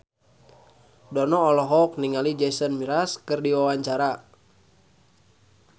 Dono olohok ningali Jason Mraz keur diwawancara